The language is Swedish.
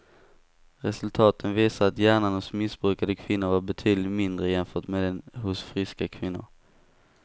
Resultaten visar att hjärnan hos missbrukande kvinnor var betydligt mindre jämfört med den hos friska kvinnor.